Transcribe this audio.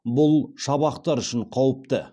бұл шабақтар үшін қауіпті